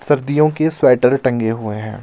सर्दियों के स्वेटर टंगे हुए हैं.